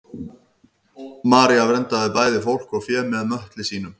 maría verndaði bæði fólk og fé með möttli sínum